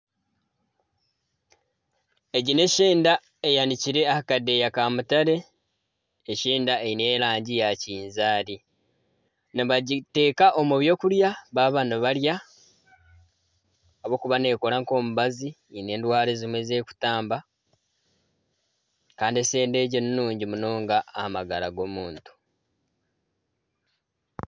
Egi ni eshenda eyanikire aha Kadeya ka mutare , eshenda eine erangi ya kinzaari . Nibagiteka omu by'okurya baba nibarya ahabwokuba nekora nka omubazi hiine endwara ezimwe ezerikutamba Kandi eshenda egi ni nungi munonga aha magara g'omuntu.